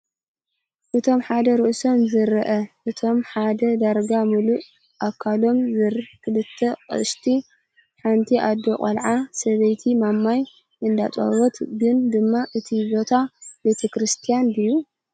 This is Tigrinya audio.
እቶም ሓደ ርእሶም ዘይርአ እቶም ሓደ ዳርጋ ሙሉእ ኣካሎም ዝር ክልተ አቅሽቲ ሓንቲ ኣዶ ቆልዓ ሰበይቲ ማማይ እንዳአጠበወት ግን ድማ እቲ ቦታ ቤተክስርትያን ድዩ?